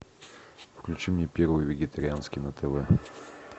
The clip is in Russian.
включи мне первый вегетарианский на тв